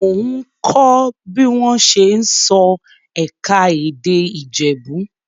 Mò ń kọ́ bí wọ́n ṣe ń sọ ẹ̀ka-èdè Ìjẹ̀bú.